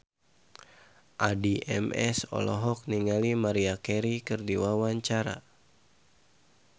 Addie MS olohok ningali Maria Carey keur diwawancara